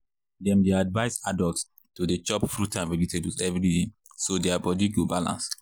dem dey advise adults to dey chop fruit and vegetables every day so their body go balance.